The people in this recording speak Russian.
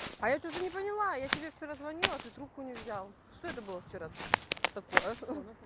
а я что-то не поняла я тебе вчера звонила ты трубку не взял что это было вчера такое